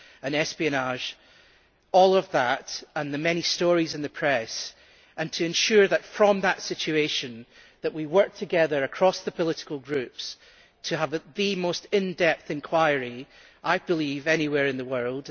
and espionage, and the many stories in the press and to ensure that from that situation we worked together across the political groups to have the most in depth inquiry, I believe, anywhere in the world.